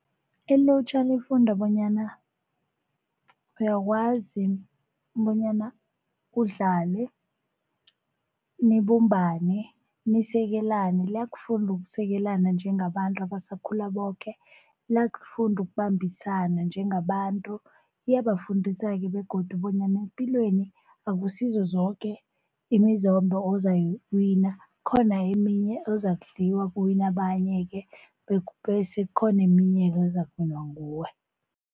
Ilutjha lifunda bonyana uyakwazi bonyana udlale, nibumbane, nisekelane. Liyakufunda ukusekelana njengabantu abasakhula boke, liyakufunda ukubambisana njengabantu, liyabafundisa-ke begodu bonyana epilweni akusizo zoke imizombo ozoyiwina khona eminye ozakudliwa kuwine abanye-ke, bese kukhona eminye ezakuwinwa nguwe.